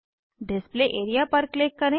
display area पर click करें